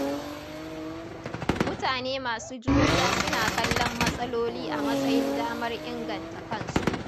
Mutane masu juriya suna kallon matsaloli a matsayin damar inganta kansu.